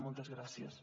moltes gràcies